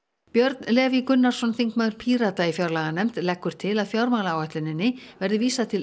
Björn Leví Gunnarsson þingmaður Pírata í fjárlaganefnd leggur til að fjármálaáætluninni verði vísað til